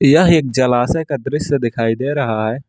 यह एक जलाशय का दृश्य दिखाई दे रहा है।